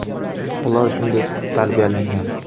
Ular shunday tarbiyalangan.